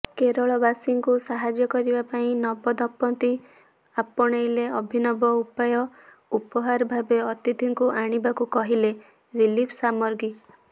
କେରଳବାସୀଙ୍କୁ ସାହାଯ୍ୟ କରିବା ପାଇଁ ନବଦମ୍ପତି ଆପଣାଇଲେ ଅଭିନବ ଉପାୟ ଉପହାର ଭାବେ ଅତିଥିଙ୍କୁ ଆଣିବାକୁ କହିଲେ ରିଲିଫ୍ ସାମଗ୍ରୀ